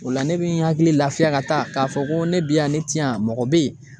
O la ne bi n hakili lafiya ka taa .Ka fɔ ko ne be yan ne te yan mɔgɔ be yen